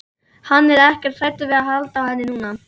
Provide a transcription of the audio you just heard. Hann er ekkert hræddur við að halda á henni núna.